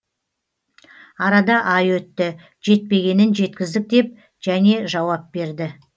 арада ай өтті жетпегенін жеткіздік деп және жауап берді